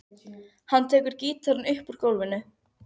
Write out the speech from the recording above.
Hann tekur gítarinn upp úr gólfinu.